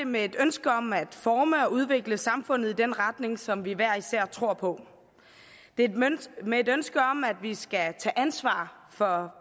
med et ønske om at forme og udvikle samfundet i den retning som vi hver især tror på det er med et ønske om at vi skal tage ansvar for